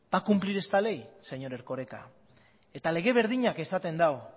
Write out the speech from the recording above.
va a cumplir esta ley señor erkoreka eta lege berdinak esaten du